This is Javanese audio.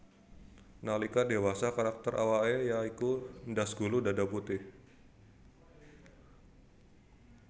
Nalika dewasa karakter awake ya iku ndas gulu dada putih